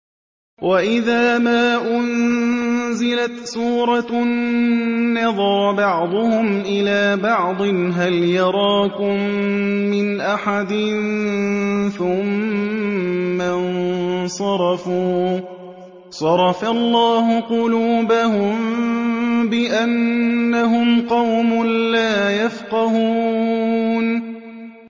وَإِذَا مَا أُنزِلَتْ سُورَةٌ نَّظَرَ بَعْضُهُمْ إِلَىٰ بَعْضٍ هَلْ يَرَاكُم مِّنْ أَحَدٍ ثُمَّ انصَرَفُوا ۚ صَرَفَ اللَّهُ قُلُوبَهُم بِأَنَّهُمْ قَوْمٌ لَّا يَفْقَهُونَ